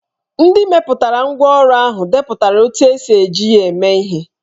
Ndị mepụtara ngwá ọrụ ahụ depụtara otú e si eji ya eme ihe